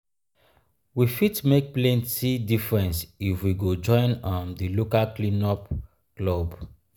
we fit make plenty difference if we go join um di local cleanup um club.